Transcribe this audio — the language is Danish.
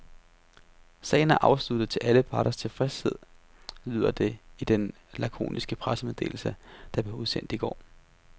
Sagen er afsluttet til alle parters tilfredshed, lyder det i den lakoniske pressemeddelse, der blev udsendt i går.